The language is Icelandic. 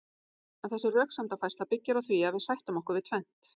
En þessi röksemdafærsla byggir á því að við sættum okkur við tvennt.